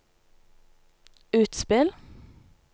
utspill